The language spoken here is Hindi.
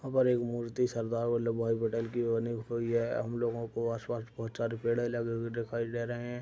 अवर एक मूर्ति सरदार वल्लभभाई पटेल की बनी हुई है। हम लोगों को आसपास बहोत सारे पेड़ लगे हुए दिखाई दे रहे हैं।